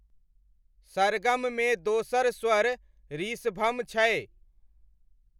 सरगममे दोसर स्वर ऋषभम छै।